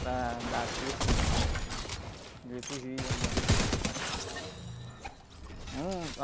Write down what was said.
Para dar curso de, de liturgia, né? E tudo mais... Um...